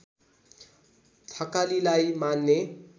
थकालीलाई मान्ने